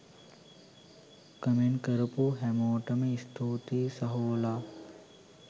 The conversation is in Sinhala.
කොමෙන්ට් කරපු හැමෝටම ස්තූතියි සහෝලා.